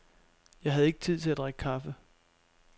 Jeg havde ikke tid til at drikke kaffe.